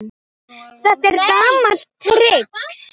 Þetta er gamalt trix.